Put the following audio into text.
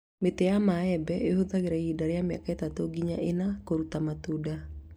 Mĩti ya mĩembe ĩhũthagĩra ihinda rĩa mĩaka ĩtatũ nginya iĩa kũrũta matunda